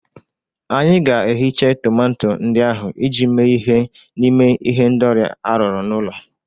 Anyị ga-ehicha tomato ndị ahụ iji mee ihe n'ime ihendori arụrụ n'ụlọ